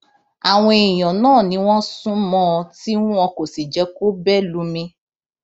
àwọn èèyàn náà ni wọn sún mọ ọn tí wọn kò sì jẹ kó bẹ lùmí